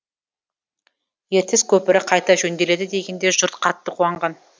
ертіс көпірі қайта жөнделеді дегенде жұрт қатты қуанған